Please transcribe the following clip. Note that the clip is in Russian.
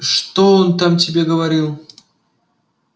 что он там тебе говорил